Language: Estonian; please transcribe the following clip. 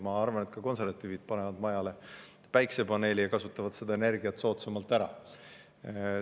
Ma arvan siiski, et ka konservatiivid panevad majale päikesepaneeli ja kasutavad seda energiat soodsamalt ära.